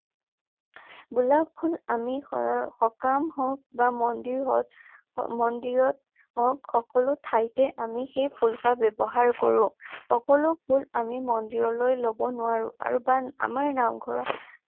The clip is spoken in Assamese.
গোলাপ ফুল আমি সকাম হওকঁ বা মন্দিৰত মন্দিৰত হওঁক সকলো ঠাইতে আমি সেই ফুলপাহ ব্যৱহাৰ কৰোঁ। সকলো ফুল আমি মন্দিৰলৈ ল'ব নোৱাৰোঁ। আৰু বা আমাৰ নামঘৰত